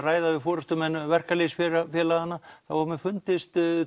ræða við forystumenn verkalýðsfélaganna þá hefur mér fundist